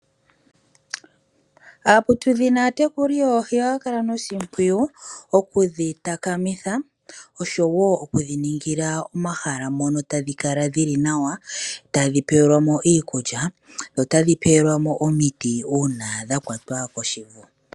Aaputudhi naatekuli yoohi ohaya kala noshimpwiyu okudhi takamitha oshowo okudhi ningila omahala mono tadhi kala dhili nawa tadhi pelwa mo iikulya notadhi pelwa mo omiti uuna dha kwatwa koshivu.